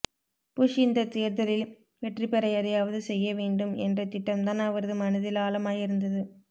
push இந்தத் தேர்தலில் வெற்றி பெற எதையாவது செய்ய வேண்டும் என்ற திட்டம்தான் அவரது மனதில் ஆழமாய் இருந்தது